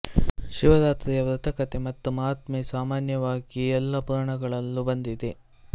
ಶಿವರಾತ್ರಿಯ ವ್ರತಕಥೆ ಮತ್ತು ಮಹಾತ್ಮ್ಯೆ ಸಾಮಾನ್ಯವಾಗಿ ಎಲ್ಲ ಪುರಾಣಗಳಲ್ಲೂ ಬಂದಿದೆ